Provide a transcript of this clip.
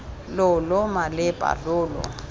lo lo malepa lo lo